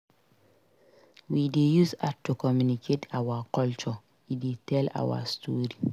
We dey use art to communicate our culture; e dey tell our story.